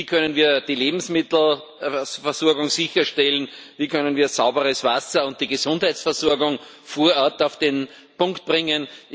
Wie können wir die Lebensmittelversorgung sicherstellen, wie können wir sauberes Wasser und die Gesundheitsversorgung vor Ort auf den Punkt bringen?